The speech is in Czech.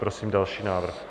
Prosím další návrh.